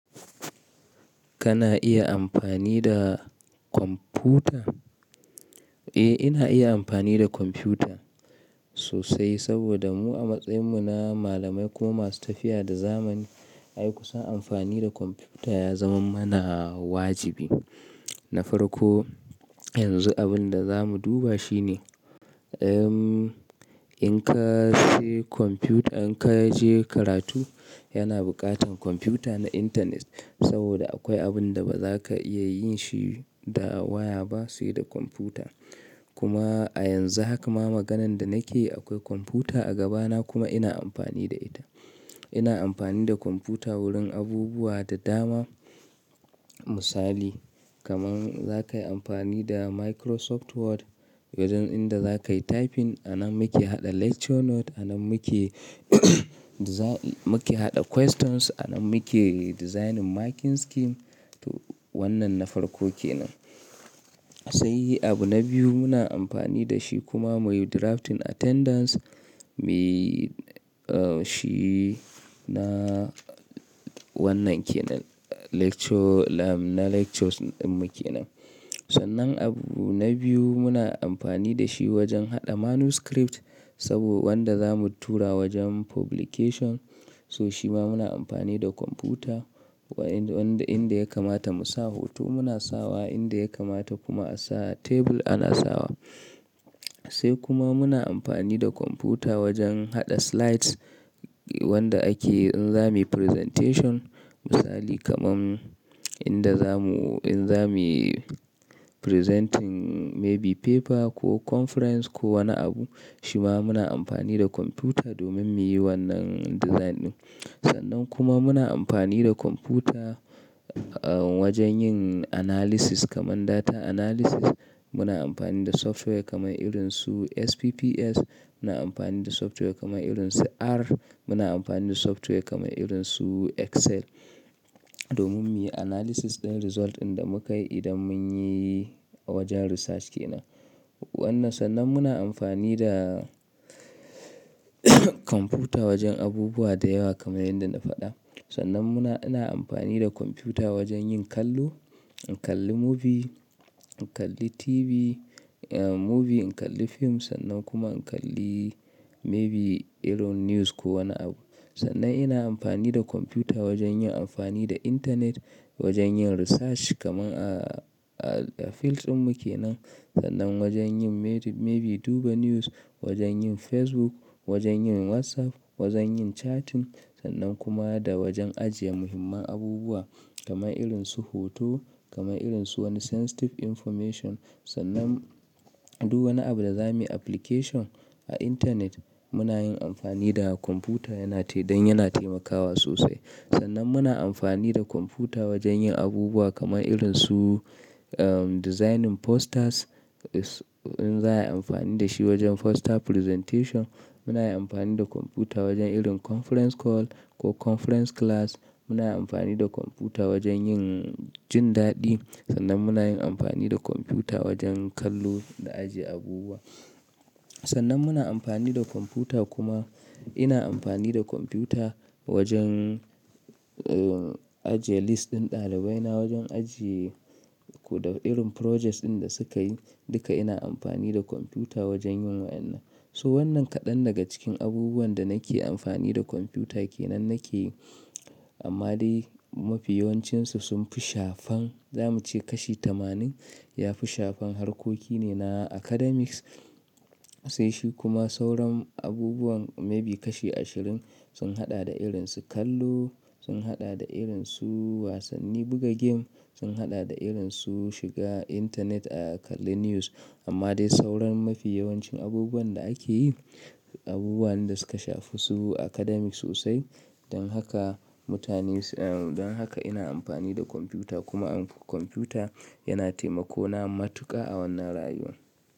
Kana iya amfani da kwamfuta? Eh, ina iya amfani da kwamfuta sosai saboda mu a matsayin mu na malamai kuma masu tafiya da zamani. Ai kusan amfani da kwamfuta ya zama mana wajibi. Nafarko yanzu abin da zamu duba shine, ehh in ka sayi kwamfuta, in ka je karatu yana buƙatan kwamfuta na intanet saboda akwai abun da ba za ka iya yin shi da waya ba sai da kwamfuta. Kuma a yanzu haka ma maganan da nake yi akwai kwamfuta a gaba na kuma ina amfani da ita. Ina amfani da kwamfuta wurin abubuwa da dama. Misali kaman za ka yi amfani da Microsoft Word wajen inda za ka yi typing. A nan muke haɗa lecture note, a nan muke muke haɗa questions, a nan muke designing marking scheme. To wannan na farko kenan. Sai abu na biyu muna amfani da shi kuma muyi drafting attendance, muyi ah shi na wannan kenan lecture lab na lectures din mu kenan. Sannan abu na biyu muna amfani da shi wajen haɗa manuscript saboda wanda zamu tura wajen publication. So shi ma muna amfani da kwamfuta wanda inda ya kamata mu sa hoto muna sawa, inda ya kamata kuma a sa tebur ana sawa. Sai kuma muna amfani da kwamfuta wajen haɗa slides wanda ake in za muyi presentation. Misali kaman inda zamu in za muyi presenting maybe paper ko conference ko wani abu, shi ma muna amfani da kwamfuta domin muyi wannan design din. Sannan kuma muna amfani da kwamfuta ah wajen yin analysis kaman data analysis. Muna amfani da software kaman irin su SPPS, muna amfani da software kaman irin su R, muna amfani da software kaman irin su Excel domin muyi analysis ɗin result inda muka yi idan mun yi wajen research kenan. Wannan sannan muna amfani da kwamfuta wajen abubuwa da yawa kaman yanda na faɗa. Sannan muna-- ina amfani da kwamfuta wajen yin kallo, in kalli movie, in kalli TV, eh movie in kalli fim sannan kuma in kalli maybe irin news ko wani abu. Sannan ina amfani da kwamfuta wajen yin amfani da intanet wajen yin research kaman a field ɗin mu kenan. Sannan wajen yin maybe duba news, wajen yin Facebook, wajen yin WhatsApp, wajen yin chatting sannan kuma da wajen ajiye muhimman abubuwa kaman irin su hoto, kaman irin su wani sensitive information. Sannan duk wani abu da zamu yi application a intanet muna yin amfani da kwamfuta yana tai dan yana taimakawa sosai. Sannan muna amfani da kwamfuta wajen yin abubuwa kaman irin su eh designing posters, in za a yi amfani da shi wajen poster presentation. Muna yin amfani da kwamfuta wajen irin conference call ko conference class. Muna yin amfani da kwamfuta wajen yin jin daɗi. Sannan muna yin amfani da kwamfuta wajen kallo da ajiye abubuwa. Sannan muna amfani da kwamfuta kuma ina amfani da kwamfuta wajen ajiye list ɗin ɗalibai na wajen ajiye irin projects ɗin da suka yi duka ina amfani da kwamfuta wajen yin wa'inan. So wannan kaɗan daga cikin abubuwan da nake amfani da kwamfuta kenan nake yi. Amma dai mafi yawancinsu sun fi shafan, zamu ce kashi tamanin ya fi shafan harkoki ne na academics. Sai shi kuma sauran abubuwan maybe kashi ashirin sun haɗa da irin su kallo, sun haɗa da irin su wasanni buga game, sun haɗa da irin su shiga intanet a kalli news. Amma dai sauran mafi yawancin abubuwan da ake yi, abubuwane da suka shafi su academic sosai. Don haka mutane-- don haka ina amfani da kwamfuta kuma kwamfuta yana taimako na matuƙa a wannan rayuwa.